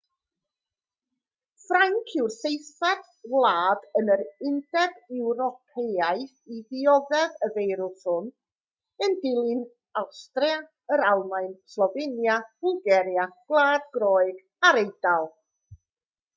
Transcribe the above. ffrainc yw'r seithfed wlad yn yr undeb ewropeaidd i ddioddef y feirws hwn yn dilyn awstria yr almaen slofenia bwlgaria gwlad groeg a'r eidal